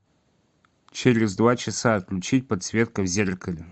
через два часа отключить подсветка в зеркале